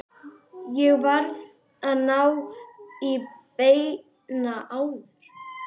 Ég varð að ná í Benna áður.